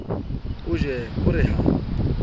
o ye a re ha